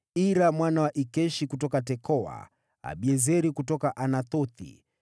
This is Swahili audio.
Ira mwana wa Ikeshi kutoka Tekoa, Abiezeri kutoka Anathothi,